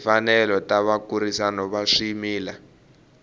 timfanelo ta vakurisi va swimila